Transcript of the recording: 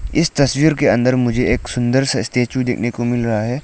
इस तस्वीर के अंदर मुझे एक सुंदर सा स्टैचू देखने को मिल रहा है।